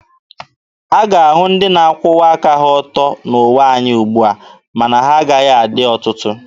A ga-ahụ ndị na-akwụwa aka ha ọtọ n'ụwa anyị ugbua, ma na ha agaghị adị ọtụtụ.